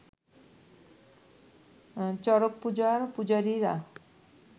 চড়ক-পূজার পূজারীরা